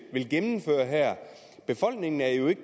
gennemføre her befolkningen er jo ikke